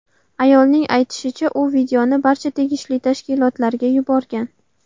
Ayolning aytishicha, u videoni barcha tegishli tashkilotlarga yuborgan.